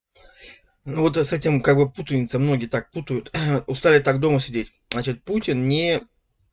ну вот и с этим как-бы путаница многие так путают устали так дома сидеть значит путин не